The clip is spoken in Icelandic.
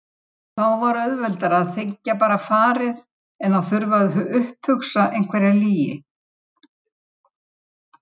Viðstödd vorum við þrjú alsystkin